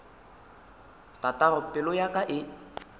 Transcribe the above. tatago pelo ya ka e